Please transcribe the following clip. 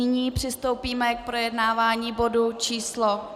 Nyní přistoupíme k projednávání bodu číslo